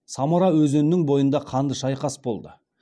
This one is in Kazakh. самара өзенінің бойында қанды шайқас болды